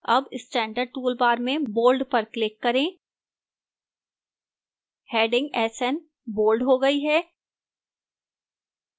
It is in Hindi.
अब standard toolbar में bold पर click करें हैडिंग sn bold हो गई है